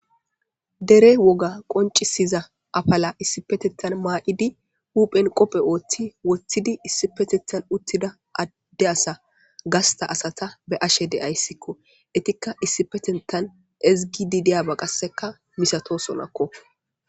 dere woga qoncisiza afala issipetentan maa7idi huphen qopphe ooththi woththidi issipetethan uttida adde asa gasta asata be ashe deyayssikko etikka issipetentan ezgidi deyaba qasseka misato sonakko